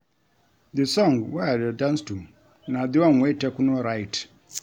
The song wey I dey dance to na the one wey Tekno write